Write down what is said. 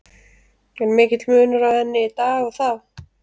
Er mikill munur á henni í dag og þá?